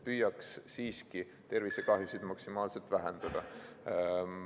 Püüaks siiski tervisekahjusid maksimaalselt vähendada.